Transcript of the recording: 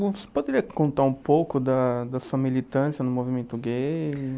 Você poderia contar um pouco da da sua militância no movimento gay?